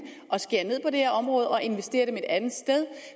at skære ned på det her område og investere et andet sted